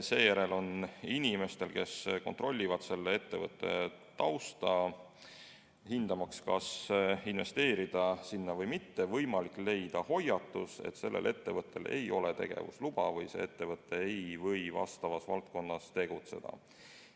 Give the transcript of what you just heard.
Seejärel on inimestel, kes kontrollivad selle ettevõtte tausta, hindamaks, kas investeerida sinna või mitte, võimalik leida hoiatus, et sellel ettevõttel ei ole tegevusluba või see ettevõte ei tohi selles valdkonnas tegutseda.